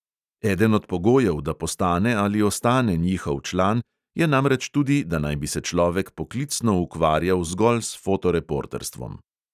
Eden od pogojev, da postane ali ostane njihov član, je namreč tudi, da naj bi se človek poklicno ukvarjal zgolj s fotoreporterstvom.